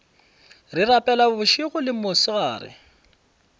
re rapela bošego le mosegare